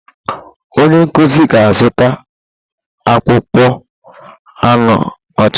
Onye nkuzi ga azuta akpa akpụkpọ anụ ọcha.